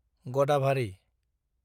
गदाभारि